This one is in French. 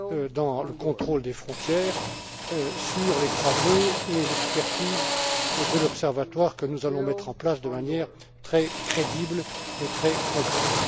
dans le contrôle des frontières, sur les travaux et l'expertise de l'Observatoire que nous allons mettre en place de manière très crédible et très concrète.